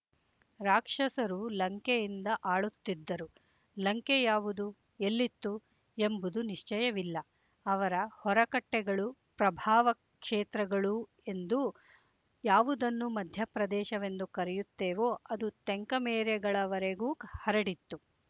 ರಾಕ್ಷಸರು ಲಂಕೆಯಿಂದ ಆಳುತ್ತಿದ್ದರು ಲಂಕೆ ಯಾವುದು ಎಲ್ಲಿತ್ತು ಎಂಬುದು ನಿಶ್ಚಯವಿಲ್ಲ ಅವರ ಹೊರಕಟ್ಟೆಗಳೂ ಪ್ರಭಾವಕ್ಷೇತ್ರಗಳೂ ಎಂದು ಯಾವುದನ್ನು ಮಧ್ಯಪ್ರದೇಶವೆಂದು ಕರೆಯುತ್ತೇವೊ ಅದರ ತೆಂಕಮೇರೆಗಳವರೆಗೂ ಹರಡಿತ್ತು